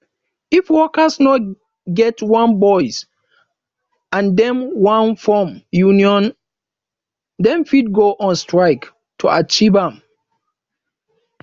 if workers no get one voice and them won form union them fit go on strike to achieve am